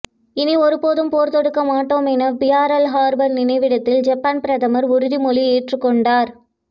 இனி ஒருபோதும் போர் தொடுக்கமாட்டோம் என பியர்ல் ஹார்பர் நினைவிடத்தில் ஜப்பான் பிரதமர் உறுதிமொழி ஏற்றுக்கொண்டார்